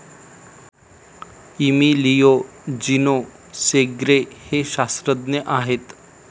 Emilio Gino Segre हे शास्त्रज्ञ आहेत.